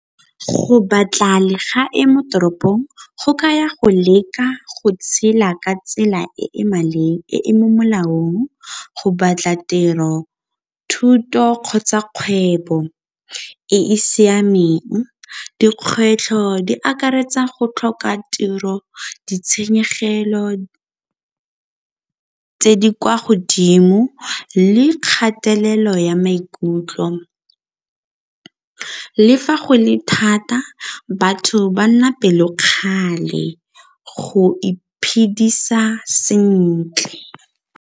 Go batla legae mo toropong go kaya go leka go tshela ka tsela e e mo molaong go batla tiro, thuto kgotsa kgwebo e e siameng. Dikgwetlho di akaretsa go tlhoka tiro, ditshenyegelo tse di kwa godimo le kgathalelo ya maikutlo. Le fa go le thata batho ba nna pelokgale go iphedisa sentle.